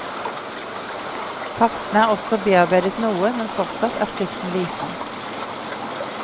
Kartene er også bearbeidet noe, men fortsatt er skriften liten.